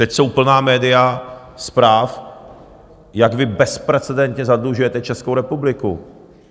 Teď jsou plná média zpráv, jak vy bezprecedentně zadlužujete Českou republiku.